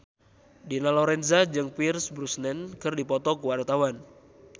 Dina Lorenza jeung Pierce Brosnan keur dipoto ku wartawan